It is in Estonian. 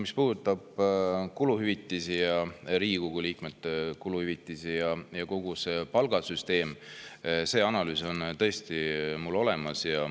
Mis puudutab Riigikogu liikmete kuluhüvitisi ja kogu palgasüsteemi, siis see analüüs on mul tõesti olemas.